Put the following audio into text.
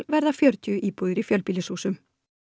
verða fjörutíu íbúðir í fjölbýlishúsum